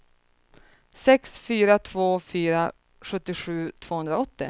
sex fyra två fyra sjuttiosju tvåhundraåttio